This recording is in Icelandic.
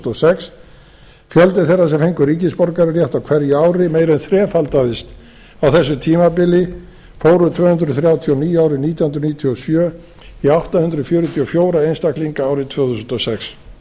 og sex fjöldi þeirra sem fengu ríkisborgararétt á hverju ári meira en þrefaldaðist á þessu tímabili fór úr tvö hundruð þrjátíu og níu árið nítján hundruð níutíu og sjö í átta hundruð fjörutíu og fjögurra einstaklinga árið tvö þúsund og sex